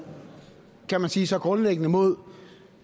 kan man sige så grundlæggende mod